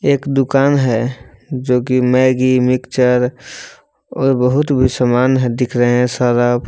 एक दुकान है जो कि मैगी मिक्सचर और बहुत भी समान दिख रहे हैं सरफ।